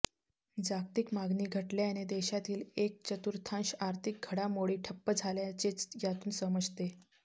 जागतिक मागणी घटल्याने देशातील एक चतुर्थांश अर्थिक घडामोडी ठप्प झाल्याचेच यातून समजते